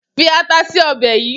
Fi ata si ọbẹ̀ yìí!